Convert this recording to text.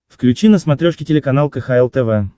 включи на смотрешке телеканал кхл тв